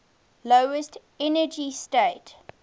lowest energy state